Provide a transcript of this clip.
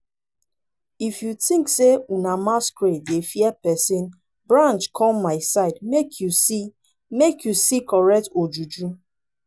if you think say una masquerade dey fear person branch come my side make you see make you see correct ojuju